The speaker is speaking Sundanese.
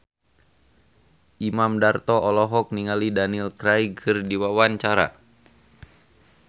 Imam Darto olohok ningali Daniel Craig keur diwawancara